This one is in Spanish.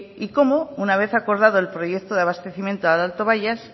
y cómo una vez acordado el proyecto de abastecimiento al alto bayas